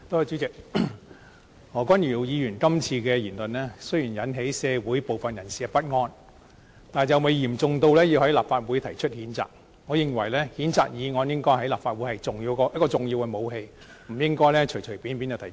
主席，何君堯議員今次的言論雖然引起社會部分人士的不安，但尚未嚴重至需要在立法會提出譴責，我認為譴責議案在立法會內應該是重要的武器，不應該隨便提出。